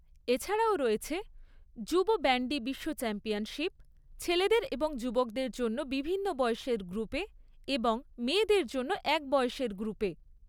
এছাড়াও রয়েছে যুব ব্যান্ডি বিশ্ব চ্যাম্পিয়নশিপ ছেলেদের এবং যুবকদের জন্য বিভিন্ন বয়সের গ্রুপে এবং মেয়েদের জন্য এক বয়সের গ্রুপে।